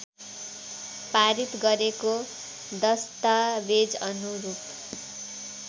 पारित गरेको दश्तावेजअनुरूप